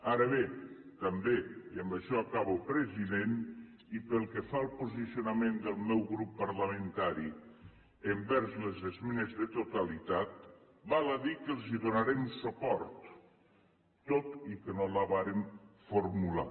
ara bé també i amb això acabo president i pel que fa al posicionament del meu grup parlamentari amb relació a les esmenes de totalitat val a dir que els hi donarem suport tot i que no la vàrem formular